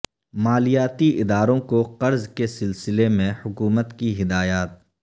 مالیاتی اداروں کو قرض کے سلسلہ میں حکومت کی ہدایات